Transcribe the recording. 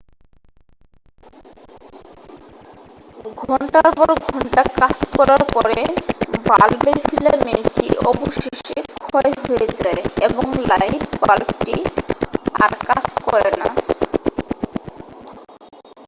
ঘণ্টার পর ঘন্টা কাজ করার পরে বাল্বের ফিলামেন্টটি অবশেষে ক্ষয় হয়ে যায় এবং লাইট বাল্বটি আর কাজ করে না